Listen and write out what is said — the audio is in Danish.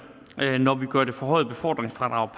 når vi gør det forhøjede befordringsfradrag